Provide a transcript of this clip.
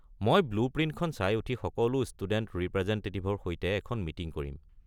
মই ব্লু প্ৰিণ্টখন চাই উঠি সকলো ষ্টুডেণ্ট ৰিপ্ৰেজেণ্টেটিভৰ সৈতে এখন মিটিং কৰিম।